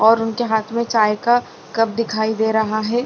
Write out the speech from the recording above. और उनके हाँथ में चाय का कप दिखाई दे रहा है।